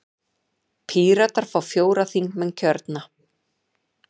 Píratar fá fjóra þingmenn kjörna.